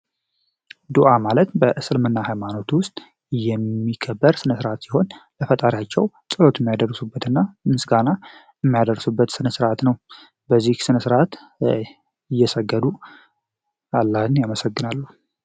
ዱአ ማለት በእስልምና ሃይማኖት ውስጥ የሚከበር ስነስርአት ያለዉና ምስጋናው በዚህ ስነስርአት እየሰገዱ አላህን ያመሰግናሉ።